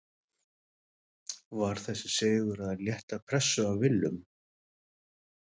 Var þessi sigur að létta pressu af Willum?